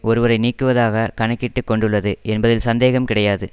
ஒருவரை நீக்குவதாக கணக்கிட்டுக் கொண்டுள்ளது என்பதில் சந்தேகம் கிடையாது